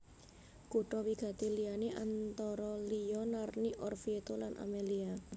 Kutha wigati liyané antara liya Narni Orvieto lan Amelia